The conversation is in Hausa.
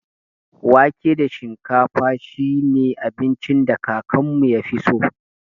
Wake da shinkafa shi ne abincin da kakanmu ya fi so.